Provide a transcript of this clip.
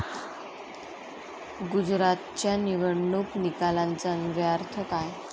गुजरातच्या निवडणूक निकालांचा अन्वयार्थ काय?